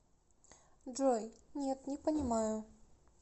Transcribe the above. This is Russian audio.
джой нет не понимаю